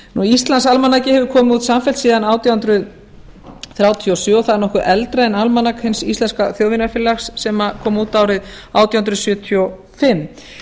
íslands almanakið hefur komið út samfellt síðan átján hundruð þrjátíu og sjö það er nokkuð eldra en almanak hins íslenska þjóðvinafélags sem kom út árið átján hundruð sjötíu og fimm